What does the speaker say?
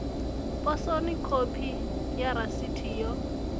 posoni khophi ya rasiti yo